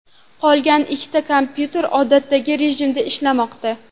Qolgan ikkita kompyuter odatdagi rejimda ishlamoqda.